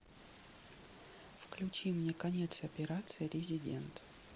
включи мне конец операции резидент